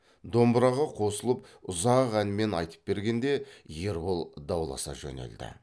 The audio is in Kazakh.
домбыраға қосылып ұзақ әнмен айтып бергенде ербол дауласа жөнелді